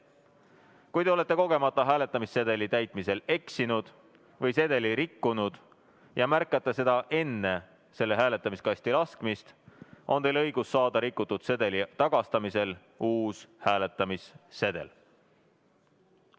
Kui te olete kogemata hääletamissedeli täitmisel eksinud või sedeli rikkunud ja märkate seda enne selle hääletamiskasti laskmist, on teil õigus saada rikutud sedeli tagastamise korral uus hääletamissedel.